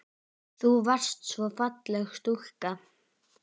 Þú varst svo falleg stúlka.